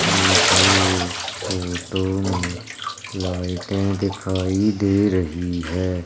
मुझे इस फोटो में लाइटें दिखाई दे रही है।